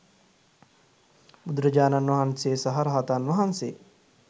බුදුරජාණන් වහන්සේ සහ රහතන් වහන්සේ